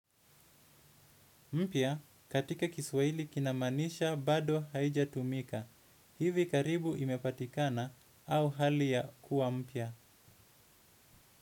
Mpya katika Kiswahili kinamaanisha bado haijatumika hivi karibu imepatikana au hali ya kuwa mpya.